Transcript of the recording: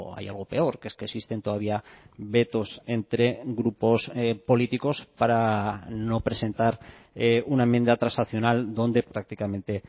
hay algo peor que es que existen todavía vetos entre grupos políticos para no presentar una enmienda transaccional donde prácticamente